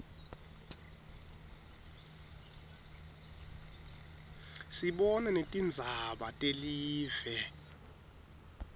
sibona netingzaba telive